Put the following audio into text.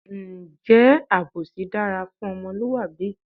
Ǹjẹ́ àbòsí dára fún ọmọlúwàbí?